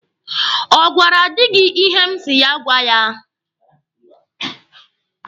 Ọ gwara di gị ihe m si ya gwa ya?